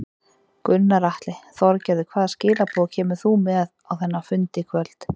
Gunnar Atli: Þorgerður hvaða skilaboð kemur þú með á þennan fund í kvöld?